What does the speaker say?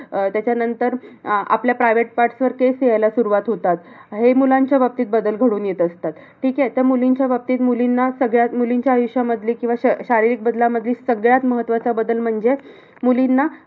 अह त्याच्यानंतर अह आपल्या private parts वर केस यायला सुरवात होतात. हे मुलांचा बाबतीत बदल घडून येत असतात. ठीक आहे? तर मुलींच्या बाबतीत, मुलींना सगळ्यात मुलींच्या आयुष्यामधले की किंवा शारीरिक बदलामध्ये सगळ्यात महत्वाचा बदल म्हणजे मुलींना